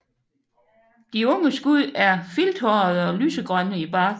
De unge skud er filthårede og lysegrønne i barken